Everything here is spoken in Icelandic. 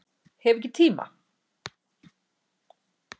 Hef ekki tíma